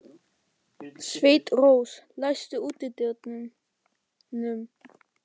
Sveinrós, læstu útidyrunum.